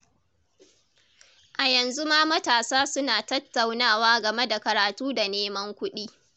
A yanzu ma matasa suna tattaunawa game da karatu da neman kuɗi.